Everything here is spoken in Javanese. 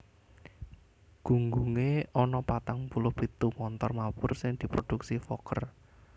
Gunggungé ana patang puluh pitu montor mabur sing diproduksi Fokker